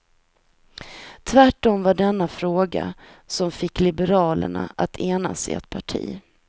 Tvärtom var det denna fråga som fick liberalerna att enas i ett parti.